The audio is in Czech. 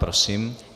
Prosím.